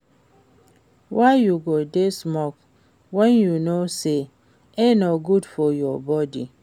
Why you go dey smoke wen you know say e no good for your body